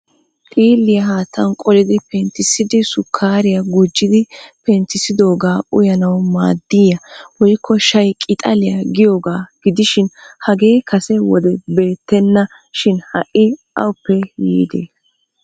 Xiiliya haattan qollidi penttisidi sukkariya gujidi penttisidoga uyyanaw maaddiya woykko 'shay- qixaliya 'giyoogaa gidishin hage kase wode beettena. Shin ha'i awuppe yiide?